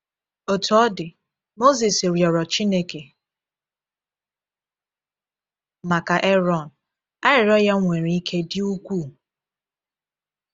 Otú ọ dị, Mozis rịọrọ Chineke maka Erọn, arịrịọ ya nwere “ike dị ukwuu.”